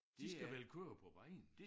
De skal vel køre på vejen